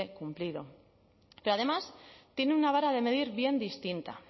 cumplido pero además tienen una vara de medir bien distinta